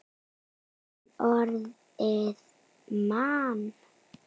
Norðrið man.